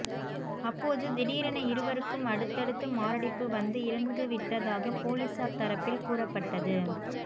அப்போது திடீரென இருவருக்கும் அடுத்தடுத்து மாரடைப்பு வந்து இறந்து விட்டதாக போலீசார் தரப்பில் கூறப்பட்டது